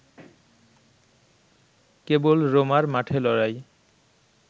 কেবল রোমার মাঠে লড়াই